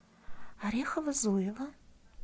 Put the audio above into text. орехово зуево